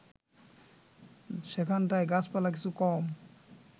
সেখানটায় গাছপালা কিছু কম